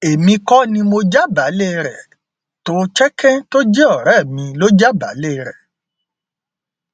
èmi kò ní mọ jábàálẹ rẹ cs] tohecken tó jẹ ọrẹ mi lọ jábàálẹ rẹ